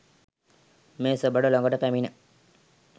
මේ සෙබඩ ළඟට පැමිණ